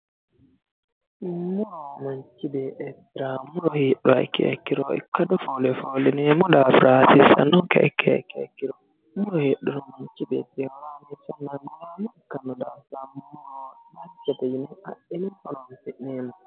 Muro manchi beettira muro heedhuha ikkiro ikkado foole foolineemmo Hasiisanonke ikkiha ikkiro muro heedhuro mamchi beettira danchate yine adhine horonsi'neemmo